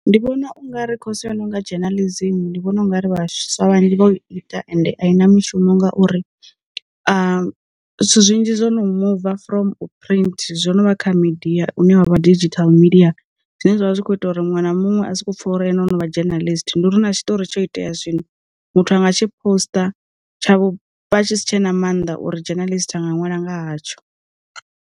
Ndi vhona ungari khoso inonga journalism ndi vhona u nga ri vhaswa vhanzhi vho ita ende a i na mishumo ngauri zwithu zwinzhi zwo no muva from u phurint zwono vha kha media une wavha digital media, zwine zwa vha zwi kho ita uri muṅwe na muṅwe a sokou pfha uri ene o no vha journalist. Ndi uri na tshiṱori tsho itea zwino, muthu anga tshi poster tsha vhupfa tshi si tshe na mannḓa uri journalist a nga ṅwala nga hatsho.